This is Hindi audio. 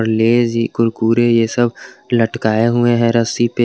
लेज कुरकुरे ये सब लटकाए हुए हैं रस्सी पे।